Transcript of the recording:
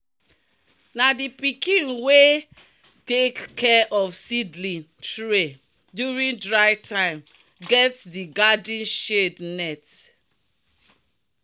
"na di pikin wey take care of seedling tray during dry time get di garden shade net."